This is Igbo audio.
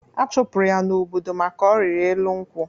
Achụpụrụ ya n'obodo maka ọrịrị elu nkwụ.